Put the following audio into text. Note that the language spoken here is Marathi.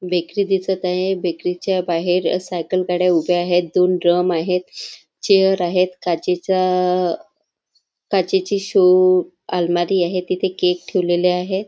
बेकरी दिसत आहे बेकरी च्या बाहेर सायकल गाड्या उभ्या आहेत चेअर आहेत काचेचा शो अलमारी आहे तिथे केक ठेवलेली आहे.